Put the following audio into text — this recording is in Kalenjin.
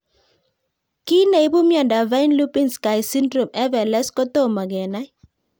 Kiy neipu miondop Fine Lubinsky syndrome (FLS) kotomo kenai